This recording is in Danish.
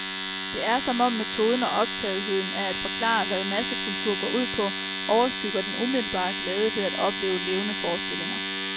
Det er som om metoden og optagetheden af at forklare, hvad massekultur går ud på, overskygger den umiddelbare glæde ved at opleve levende forestillinger.